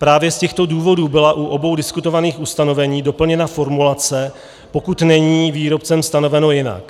Právě z těchto důvodů byla u obou diskutovaných ustanovení doplněna formulace "pokud není výrobcem stanoveno jinak".